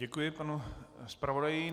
Děkuji panu zpravodaji.